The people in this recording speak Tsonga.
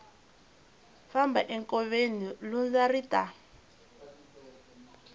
famba enkoveni lundza ri ta